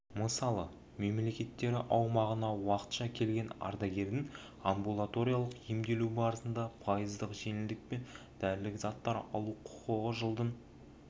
мысалы мемлекеттері аумағына уақытша келген ардагердің амбулаториялық емделу барысында пайыздық жеңілдікпен дәрілік заттар алу құқығы жылдың